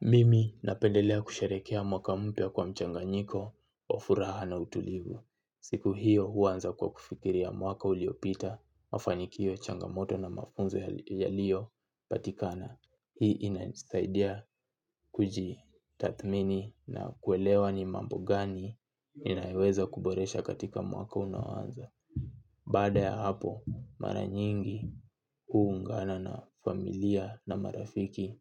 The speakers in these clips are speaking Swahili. Mimi napendelea kusherehekea mwaka mpya kwa mchanganyiko, wa furaha na utulivu. Siku hiyo huanza kwa kufikiria mwaka uliopita, mafanikio ya changamoto na mafunzo yaliyo patikana. Hii inanisaidia kuji tathmini na kuelewa ni mambi gani inayoweza kuboresha katika mwaka unaoanza. Baada ya hapo, mara nyingi huungana na familia na marafiki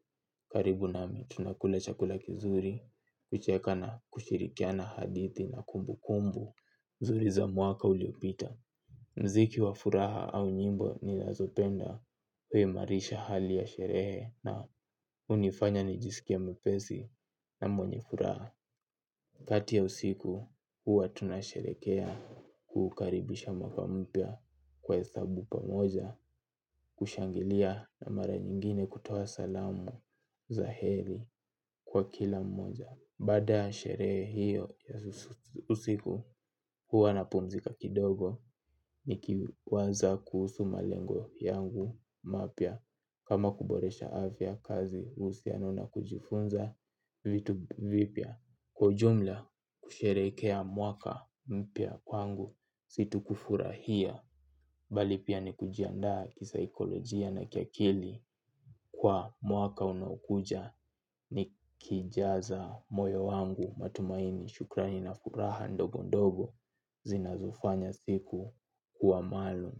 karibu nami. Tunakula chakula kizuri, kucheka na kushirikiana hadithi na kumbu kumbu mzuri za mwaka uliopita. Mziki wa furaha au nyimbo ninazopenda we imarisha hali ya sherehe na unifanya ni jisikie mwepesi na mwenye furaha. Kati ya usiku huwa tunasherehekea kukaribisha mwaka mpya kwa esabu pamoja. Kushangilia na mara nyingine kutoa salamu za heri kwa kila mmoja. Baada ya sherehe hiyo ya usiku huwa na pumzika kidogo. Niki waza kuhusu malengo yangu mapya kama kuboresha afya, kazi, uhusiano na kujifunza vitu vipya kwa ujumla kusherehekea mwaka mpya kwangu si tu kufurahia bali pia ni kujianda kisaikolojia na kiakili kwa mwaka unaokuja ni kijaza moyo wangu matumaini shukrani na furaha ndogo ndogo zinazofanya siku kuwa maalum.